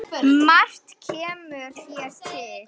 Margt kemur hér til.